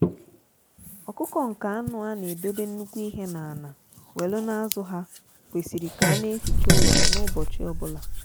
ọkụkọ nke anụ a na edobe nnukwu ihe na ana welu na azụ ha kwesịrị ka a na-eficha ụlọ ha n'ubochi obula.